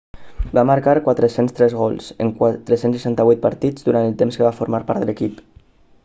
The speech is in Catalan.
va marcar 403 gols en 468 partits durant el temps que va formar part de l'equip